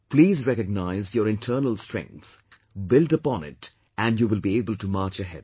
Please recognize your internal strength, build upon it and you will be able to march ahead